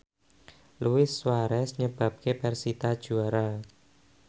Luis Suarez nyebabke persita juara